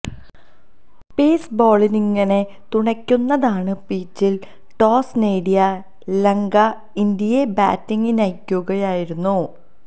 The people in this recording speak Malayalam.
പേസ് ബൌളിങ്ങിനെ തുണയ്ക്കുന്നതാണ് പിച്ചിൽ ടോസ് നേടിയ ലങ്ക ഇന്ത്യയെ ബാറ്റിങ്ങിനയക്കുകയായിരുന്നു